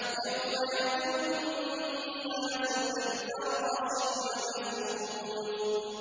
يَوْمَ يَكُونُ النَّاسُ كَالْفَرَاشِ الْمَبْثُوثِ